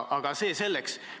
Aga see selleks.